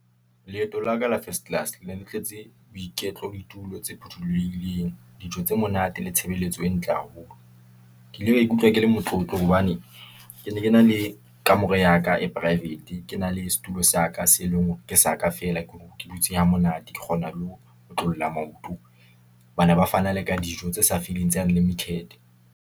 Leeto la ka la first class, ne di tletse boiketlo, ditulo tse phuthulohileng, dijo tse monate le tshebeletso e ntle haholo . Ke ile ka ikutlwa ke le motlotlo hobane ke ne ke na le kamore ya ka e private. Ke na le setulo sa ka, se e leng hore ke sa ka feela, ke hore ke dutse hamonate, ke kgona le ho otlolla maoto. Ba na ba fana le ka dijo tse sa feleng tse unlimited.